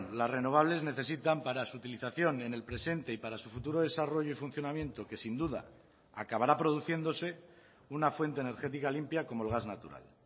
las renovables necesitan para su utilización en el presente y para su futuro desarrollo y funcionamiento que sin duda acabará produciéndose una fuente energética limpia como el gas natural